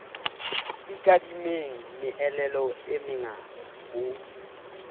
ikadimeng meelelo e mengata ho